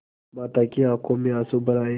माता की आँखों में आँसू भर आये